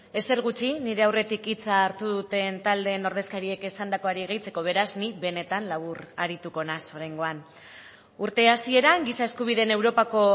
ezer gutxi nire aurretik hitza hartu duten taldeen ordezkariek esandakoari gehitzeko beraz nik benetan labur arituko naiz oraingoan urte hasieran giza eskubideen europako